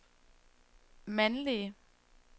mandlige